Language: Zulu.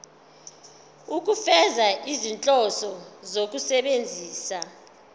ukufeza izinhloso zokusebenzisa